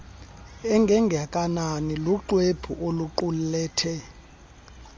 engengakanani luxwebhu oluqulethe